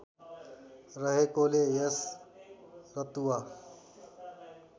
रहेकोले यस रतुवा